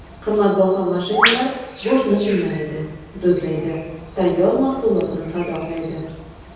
Qimmatbaho mashinalar go‘shtni qiymalaydi, dudlaydi, tayyor mahsulotni qadoqlaydi.